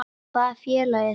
Hvaða félag er það?